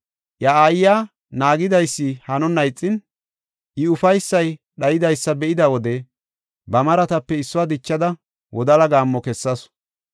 Iya aayiya naagidaysi hanonna ixin, I ufaysay dhaydaysa be7ida wode, ba maratape issuwa dichada, wodala gaammo kessasu.